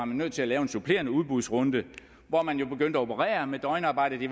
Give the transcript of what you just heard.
man nødt til at lave en supplerende udbudsrunde hvor man jo begyndte at operere med døgnarbejde